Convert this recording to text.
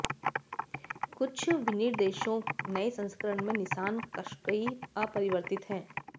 कुछ विनिर्देशों नए संस्करण में निसान क़श्कई अपरिवर्तित